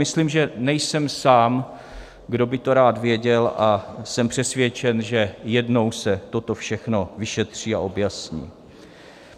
Myslím, že nejsem sám, kdo by to rád věděl, a jsem přesvědčen, že jednou se toto všechno vyšetří a objasní.